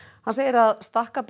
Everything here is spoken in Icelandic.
hann segir að